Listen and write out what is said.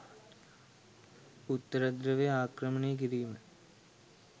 උත්තරධ්‍රැවය ආක්‍රමණය කිරීම